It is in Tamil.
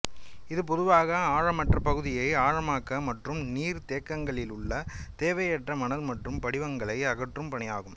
இது பொதுவாக ஆழமற்ற பகுதியை ஆழமாக்க மற்றும் நீர் தேக்கங்களிலுள்ள தேவையற்ற மணல் மற்றும் படிவுகளை அகற்றும் பணி ஆகும்